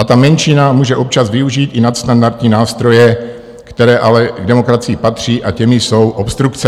A ta menšina může občas využít i nadstandardní nástroje, které ale k demokracii patří, a těmi jsou obstrukce."